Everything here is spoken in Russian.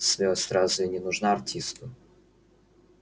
смелость разве не нужна артисту